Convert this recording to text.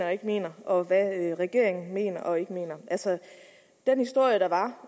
og ikke mener og hvad regeringen mener og ikke mener altså den historie der var